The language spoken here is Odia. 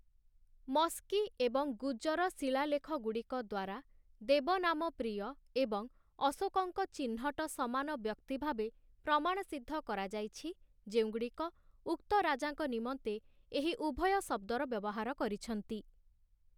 ମସ୍କୀ ଏବଂ ଗୁଜର ଶିଳାଲେଖଗୁଡ଼ିକଦ୍ଵାରା ଦେବନାମପ୍ରିୟ ଏବଂ ଅଶୋକଙ୍କ ଚିହ୍ନଟ ସମାନ ବ୍ୟକ୍ତି ଭାବେ ପ୍ରମାଣସିଦ୍ଧ କରାଯାଇଛି, ଯେଉଁଗୁଡ଼ିକ ଉକ୍ତ ରାଜାଙ୍କ ନିମନ୍ତେ ଏହି ଉଭୟ ଶବ୍ଦର ବ୍ୟବହାର କରିଛନ୍ତି ।